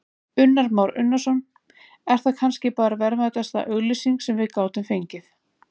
Kristján Már Unnarsson: Er það kannski bara verðmætasta auglýsing sem við gátum fengið?